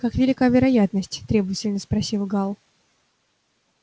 как велика вероятность требовательно спросил гаал